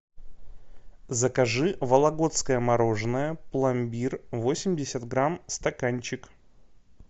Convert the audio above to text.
закажи вологодское мороженое пломбир восемьдесят грамм стаканчик